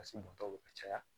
ka caya